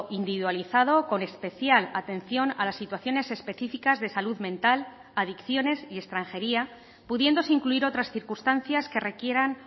individualizado con especial atención a las situaciones específicas de salud mental adicciones y extranjería pudiéndose incluir otras circunstancias que requieran